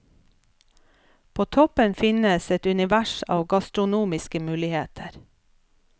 På toppen finnes et univers av gastronomiske muligheter.